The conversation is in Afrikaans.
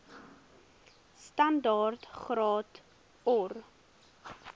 standaard graad or